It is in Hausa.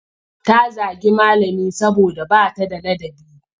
Ta zagi malami saboda ba ta da ladabi.